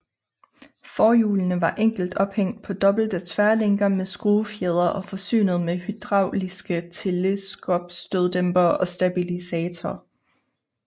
Forhjulene var enkelt ophængt på dobbelte tværlænker med skruefjedre og forsynet med hydrauliske teleskopstøddæmpere og stabilisator